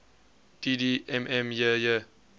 dd mm yyyy